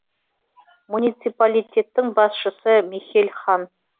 муниципалитеттің басшысы михель хан